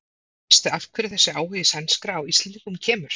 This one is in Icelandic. Veistu af hverju þessi áhugi sænskra á Íslendingum kemur?